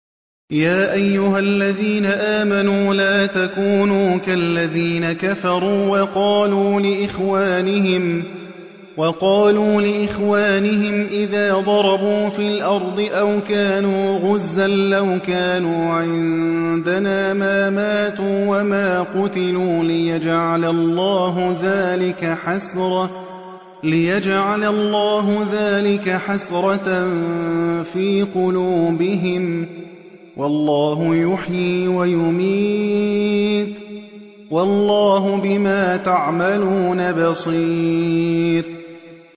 يَا أَيُّهَا الَّذِينَ آمَنُوا لَا تَكُونُوا كَالَّذِينَ كَفَرُوا وَقَالُوا لِإِخْوَانِهِمْ إِذَا ضَرَبُوا فِي الْأَرْضِ أَوْ كَانُوا غُزًّى لَّوْ كَانُوا عِندَنَا مَا مَاتُوا وَمَا قُتِلُوا لِيَجْعَلَ اللَّهُ ذَٰلِكَ حَسْرَةً فِي قُلُوبِهِمْ ۗ وَاللَّهُ يُحْيِي وَيُمِيتُ ۗ وَاللَّهُ بِمَا تَعْمَلُونَ بَصِيرٌ